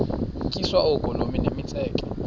tyiswa oogolomi nemitseke